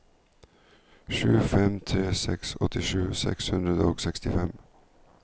sju fem tre seks åttisju seks hundre og sekstifem